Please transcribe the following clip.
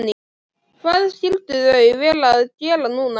Hvað skyldu þau vera að gera núna?